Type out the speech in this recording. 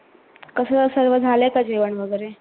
कस सर्व झाल का जेवन वगैरे?